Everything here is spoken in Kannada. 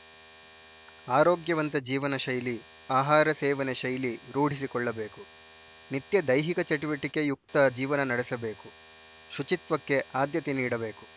ಆರೋಗ್ಯವಂತ ಜೀವನಶೈಲಿ ಆಹಾರ ಸೇವನೆ ಶೈಲಿ ರೂಢಿಸಿಕೊಳ್ಳಬೇಕು ನಿತ್ಯ ದೈಹಿಕ ಚಟುವಟಿಕೆಯುಕ್ತ ಜೀವನ ನಡೆಸಬೇಕು ಶುಚಿತ್ವಕ್ಕೆ ಆದ್ಯತೆ ನೀಡಬೇಕು